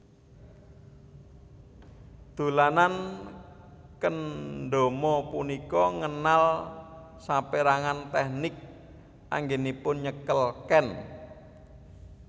Dolanan kendama punika ngenal sapérangan tèknik anggènipun nyekel ken